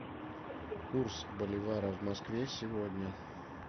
курс боливара в москве сегодня